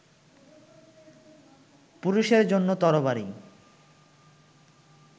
পুরুষের জন্য তরবারি